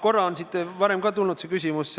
Korra täna juba kõlas küsimus